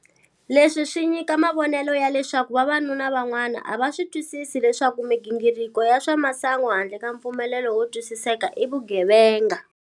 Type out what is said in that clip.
Leswi swi nyika mavonelo ya leswaku vavanuna van'wana a va swi twisisi leswaku migingiriko ya swa masangu handle ka mpfumelelano wo twisiseka i vugevenga.